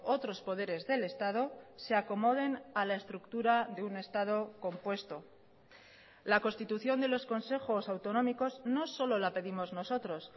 otros poderes del estado se acomoden a la estructura de un estado compuesto la constitución de los consejos autonómicos no solo la pedimos nosotros